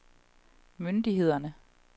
myndighederne